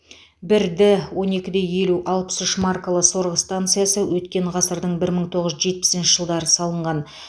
бір д он екі де елу алпыс үш маркалы сорғы станциясы өткен ғасырдың бір мың тоғыз жүз жетпісінші жылдары салынған